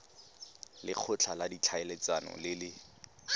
lekgotla la ditlhaeletsano le le